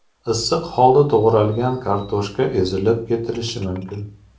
Issiq holda to‘g‘ralgan kartoshka ezilib ketishi mumkin.